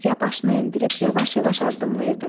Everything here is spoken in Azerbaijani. Ürgə başını endirib yavaş-yavaş addımlayırdı.